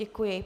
Děkuji.